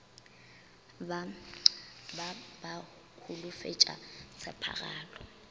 ba ba ba holofetša tshepagalo